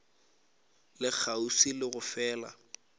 le kgauswi le go fela